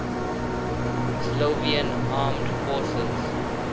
slovenian armed forces